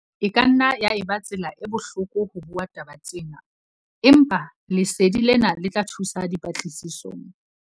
E ka nna ya eba tsela e bohloko ho bua taba tsena, empa lesedi lena le tla thusa dipatlisisong.